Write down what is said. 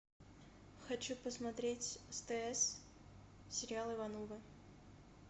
хочу посмотреть стс сериал ивановы